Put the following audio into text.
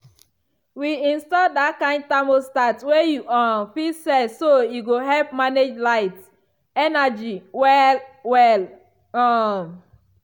we install that kind thermostat wey you um fit set so e go help manage light (energy) well-well. um